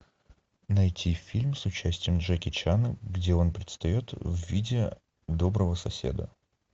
найти фильм с участием джеки чана где он предстает в виде доброго соседа